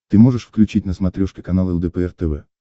ты можешь включить на смотрешке канал лдпр тв